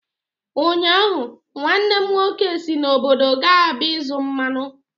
Ụnyaahụ, nwanne m nwoke si n'obodo gaa Aba ịzụ mmanụ.